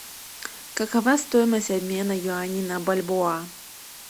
какова стоимость обмена юаней на бальбоа